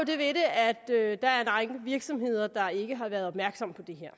ved det at der er en række virksomheder der ikke har været opmærksomme på det her